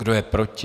Kdo je proti?